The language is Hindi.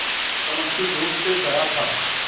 चमकती धूप से भरा था